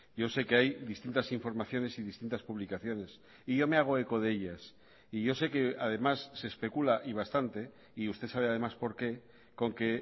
yo sé que hay distintas informaciones y distintas publicaciones y yo me hago eco de ellas y yo sé que además se especula y bastante y usted sabe además por qué con que